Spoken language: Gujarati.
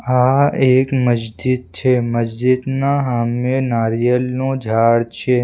આ એક મસ્જિદ છે મસ્જિદના હામે નારિયેલનું ઝાડ છે.